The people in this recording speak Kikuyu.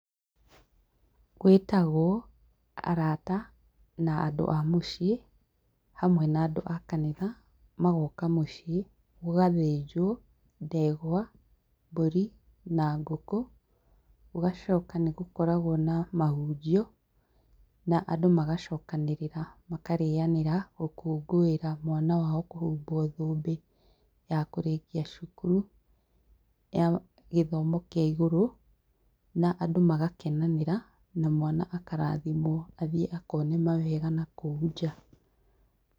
Gwĩtagwo arata, na andũ a mũciĩ, hamwe na andũ a kanitha, magoka mũciĩ, gũgathĩnjwo, ndegwa, mbũri na ngũkũ, gũgacoka nĩ gũkoragwo na mahunjio, na andũ magacokanĩrĩra, makarĩanĩra gũkũngũĩra mwana wao kũhumbwo thũmbi ya kũrĩkia cukuru, ya gĩthomo kĩa igũrũ na andũ magakenanĩra, na mwana akarathimwo athiĩ akone mawega nakũu nja